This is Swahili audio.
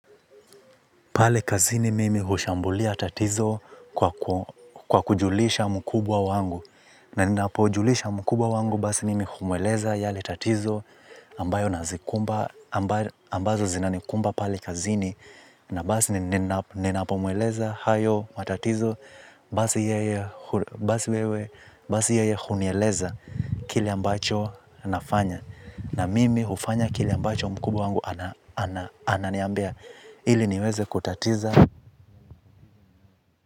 Pale kazini mimi hushambulia tatizo kwa kujulisha mkubwa wangu. Na ninapojulisha mkubwa wangu basi nimi humueleza yale tatizo ambayo nazikumba, ambazo zinanikumba pale kazini. Na basi ninapo mweleza hayo matatizo basi yeye hunieleza kile ambacho nafanya. Na mimi hufanya kile ambacho mkubwa wangu ananiambia ili niweze kutatiza.